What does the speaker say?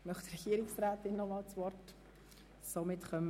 Möchte die Regierungsrätin noch einmal das Wort ergreifen?